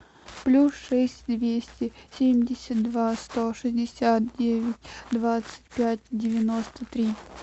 плюс шесть двести семьдесят два сто шестьдесят девять двадцать пять девяносто три